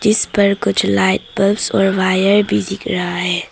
इस पर कुछ लाइट बल्ब्स और वायर भी दिख रहा है।